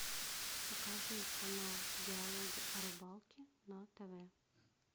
покажи канал диалоги о рыбалке на тв